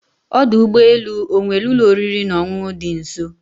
Ọdụ ụgbọ elu ọ nwere ụlọ oriri na ọṅụṅụ dị nso